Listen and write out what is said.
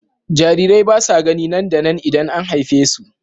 Jarirai ba sa gani nan da nan idan an haife su.